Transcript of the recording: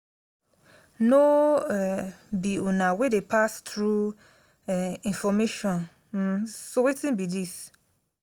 no um be una wey dey pass true um information um so wetin be dis?